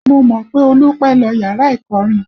Mo mọ̀ pé Olú pẹ́ lọ yàrá ìkọrin